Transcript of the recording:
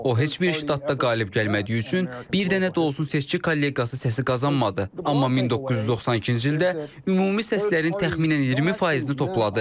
O heç bir ştatda qalib gəlmədiyi üçün bir dənə də olsun seçki kollegiyası səsi qazanmadı, amma 1992-ci ildə ümumi səslərin təxminən 20 faizini topladı.